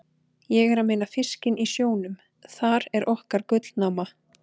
Ég er að meina fiskinn í sjónum, þar er okkar gullnáma.